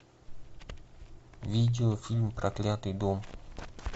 видеофильм проклятый дом